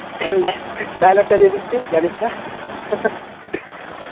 dialogue টা দিয়ে দিচ্ছি জানিসনা